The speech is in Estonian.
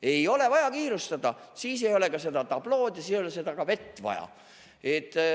Ei ole vaja kiirustada, siis ei ole ka seda tablood vaja ja siis ei ole ka seda vett vaja.